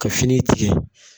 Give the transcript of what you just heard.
Ka fini tigɛ.